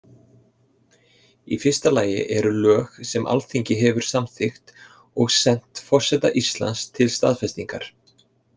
Í fyrsta lagi eru lög sem Alþingi hefur samþykkt og sent forseta Íslands til staðfestingar.